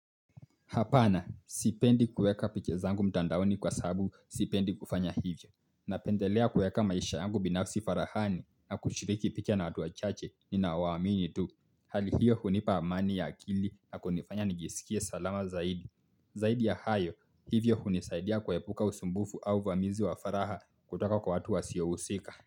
Hapana, sipendi kueka picha zangu mtandaoni kwa sababu sipendi kufanya hivyo. Napendelea kueka maisha yangu binafsi farahani na kushiriki picha na watu wachache ninao wa amini tu. Hali hiyo hunipa amani ya akili na kunifanya nijisikie salama zaidi. Zaidi ya hayo, hivyo hunisaidia kuepuka usumbufu au vamizi wa faraha kutoka kwa watu wasiohusika.